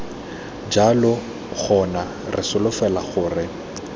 jalo gona re solofela gore